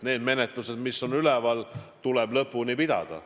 Need menetlused, mis on üleval, tuleb lõpuni pidada.